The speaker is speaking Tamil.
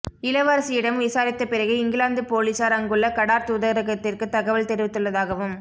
இளவரசியிடம் விசாரித்த பிறகு இங்கிலாந்து பொலிசார் அங்குள்ள கடார் தூதரகத்திற்கு தகவல் தெரிவித்துள்ளதாகவும்